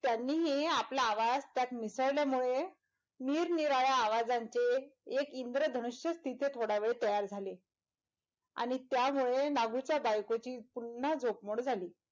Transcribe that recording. त्यांनीही आपला आवाज त्यात मिसळल्या मुळे निरनिराळे आवाजांचे एक इन्द्रधनूष्य तिते थोडा वेळ तयार झाले आणि त्यामुळे नागूच्या बायकोची पुनः झोप मोड झाली,